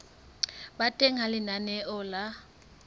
ba teng ha lenaneo la